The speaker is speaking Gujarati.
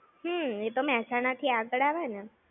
હમ્મ, એ તો મેહસાણા થી આગળ આવે ને!